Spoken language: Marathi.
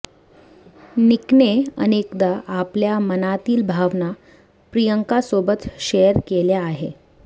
निकने अनेकदा आपल्या मनातील भावना प्रियंकासोबत शेअर केल्या आहे